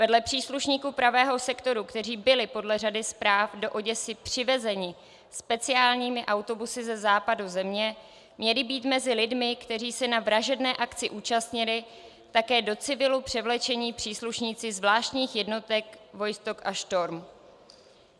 Vedle příslušníků Pravého sektoru, kteří byli podle řady zpráv do Oděsy přivezeni speciálními autobusy ze západu země, měli být mezi lidmi, kteří se na vražedné akci účastnili, také do civilu převlečení příslušníci zvláštních jednotek Vostok a Štorm.